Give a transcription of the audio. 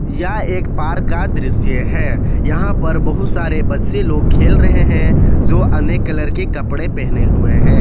या एक पार्क का दृश्य है यहां पर बहुत सारे बच्चे लोग खेल रहे हैं जो अनेक कलर के कपड़े पहने हुए हैं।